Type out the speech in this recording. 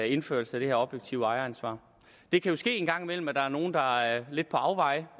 indførelse af det her objektive ejeransvar det kan jo ske en gang imellem at der er nogle der er lidt på afveje